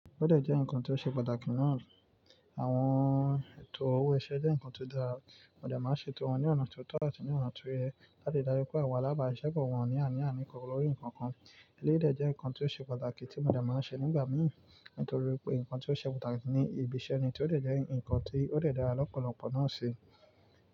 Ódè jẹ́ nǹkan tó ṣe pàtàkì naa àwọn ètò owó iṣẹ́ jẹ́ nǹkan tó dára. Mo dé máa ń ṣètò wọn ní ọ̀nà tó tọ́ àti ní ọ̀nà tó yẹ láti darí pé àwọn alábàáṣepọ̀ wọn ní àní ánì kànkàn lórí nǹkan kan. Eléyi dè jẹ́ nǹkan tó ṣe pàtàkì tí mo dé máa ń ṣe nígbà mì nítorí pé nǹkan tó ṣe pàtàkì ni ìbíṣẹ́ ni tí ó dẹ̀ jẹ́ nǹkan tí ó dẹ̀ dára lọ́pọ̀lọpọ̀ náà ṣi.